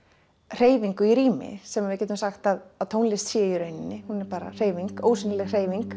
hreyfingu í rými sem við getum sagt að tónlist sé í rauninni hún er bara hreyfing ósýnileg hreyfing